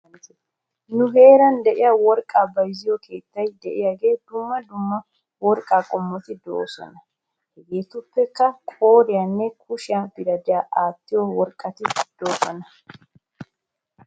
Nu heeran de'iyaa worqqaa bayzziyoo keettay de'iyaaga dumma dumma worqaa qommot de'oosona. Hegeetuppekka qooriyaninne kushiyaa biradhdhiyan aattiyoo worqqati de'oosona .